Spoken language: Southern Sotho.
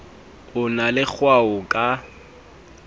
o na le kgwao ka